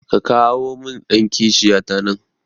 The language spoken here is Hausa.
Ka kawi min dan kishiya ta nan